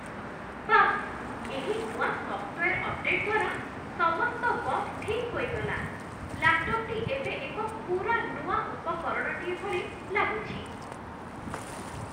ବାଃ, ଏହି ନୂଆ ସଫ୍ଟୱେର୍ ଅପଡେଟ୍ ଦ୍ଵାରା ସମସ୍ତ ବଗ୍ ଠିକ୍ ହୋଇଗଲା ଲାପ୍‌ଟପ ଏବେ ଏକ ପୂରା ନୂଆ ଉପକରଣଟିଏ ଭଳି ଲାଗୁଛି!